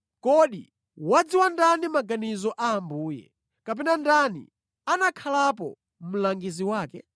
“Kodi wadziwa ndani maganizo a Ambuye? Kapena ndani anakhalapo mlangizi wake?”